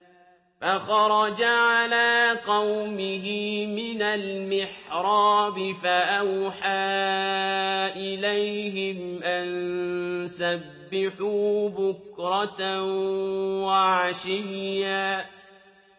فَخَرَجَ عَلَىٰ قَوْمِهِ مِنَ الْمِحْرَابِ فَأَوْحَىٰ إِلَيْهِمْ أَن سَبِّحُوا بُكْرَةً وَعَشِيًّا